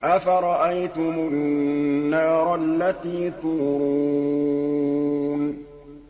أَفَرَأَيْتُمُ النَّارَ الَّتِي تُورُونَ